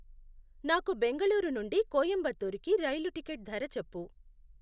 నాకు బెంగళూరు నుండి కొయంబత్తూరుకి రైలు టికెట్ ధర చెప్పు